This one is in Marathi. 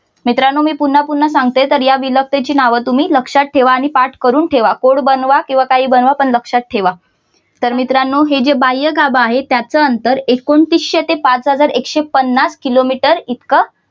मित्रानो मी पुन्हा पुन्हा सांगते तर या विलकतेची नाव तुम्ही लक्ष्यात ठेवा आणि पाठ करून ठेवा बोर्ड बनवा नाहीतर काहीही बनवा पण लक्ष्यात ठेवा तर मित्रानो हे जे बाह्यगाभा आहे त्याच अंतर एकोणतीशे ते पाच हजार एकशे पन्नास किलोमीटर इतकं